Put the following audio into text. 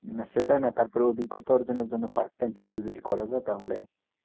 না সেটা না। তারপরে অভিজ্ঞতা অর্জনের জন্য part time কিছু যদি করা যায় তাহলে,